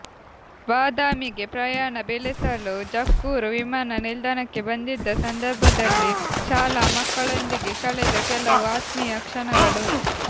ಬಾದಾಮಿಗೆ ಪ್ರಯಾಣ ಬೆಳೆಸಲು ಜಕ್ಕೂರು ವಿಮಾನ ನಿಲ್ದಾಣಕ್ಕೆ ಬಂದಿದ್ದ ಸಂದರ್ಭದಲ್ಲಿ ಶಾಲಾ ಮಕ್ಕಳೊಂದಿಗೆ ಕಳೆದ ಕೆಲವು ಆತ್ಮೀಯ ಕ್ಷಣಗಳು